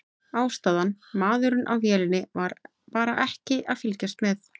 Ástæðan: Maðurinn á vélinni var bara ekki að fylgjast með.